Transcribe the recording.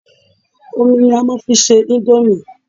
Omi ni a máa fi ń ṣe íńdómì.